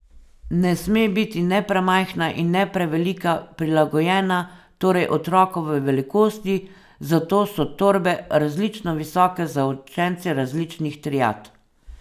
Ne sme biti ne premajhna in ne prevelika, prilagojena torej otrokovi velikosti, zato so torbe različno visoke za učence različnih triad.